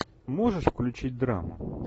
можешь включить драму